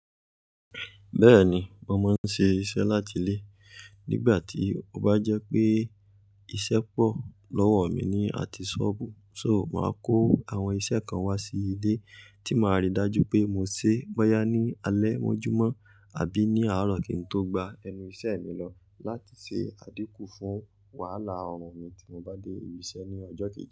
Bẹ́ẹ̀ni, mo máa ń ṣe iṣẹ́ láti ilé. Nígbà tí ó bá jẹ́ pé iṣẹ́ pọ̀ lọ́wọ́ mi ní àtì sọ́ọ̀bù, so mo máa kó àwọn iṣẹ́ kan wá sí ilé tí máa rí dájú pé mo ṣe bóyá ní alẹ́ mójúmọ̀ àbí ní àárọ̀ kí n tó gba ẹnu iṣẹ́ mi lọ láti ṣe àdínkù fún wàhálà ọrùn mi tí mo bá dé ibi iṣẹ́ ní ọjọ́ kejì.